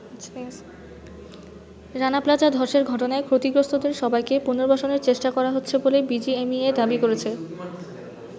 Rana Plaza ধসের ঘটনায় ক্ষতিগ্রস্তদের সবাইকে পুনর্বাসনের চেষ্টা করা হচ্ছে বলে বিজিএমইএ দাবি করেছে।